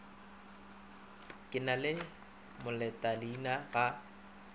ke na le molotaleina ga